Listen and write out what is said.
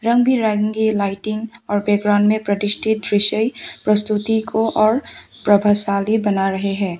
रंग बिरंगी लाइटिंग और बैकग्राउंड में प्रतिष्ठित विषय प्रस्तुति को और प्रभावशाली बना रहे हैं।